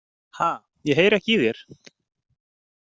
Ha, ég heyri ekki í þér.